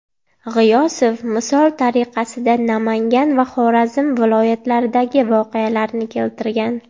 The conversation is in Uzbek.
G‘iyosov misol tariqasida Namangan va Xorazm viloyatlaridagi voqealarni keltirgan.